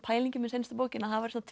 pælingin með seinustu bók að það væri svona